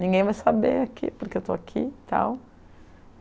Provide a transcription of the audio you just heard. Ninguém vai saber aqui porque eu estou aqui e tal.